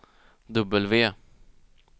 W